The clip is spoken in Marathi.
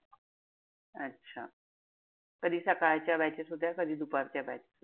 अच्छा. कधी सकाळच्या batches होत्या कधी दुपारच्या.